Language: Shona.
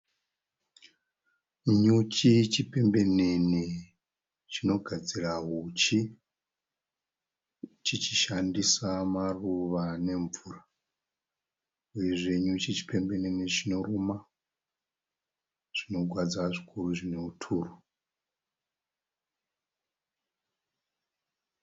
Nyuchi chipembenene chinogadzira huchi chichishandisa maruva nemvura uyezve nyuchi chipembenene chinoruma zvinogwadza zvikuru zvine huturu.